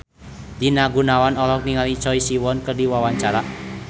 Rina Gunawan olohok ningali Choi Siwon keur diwawancara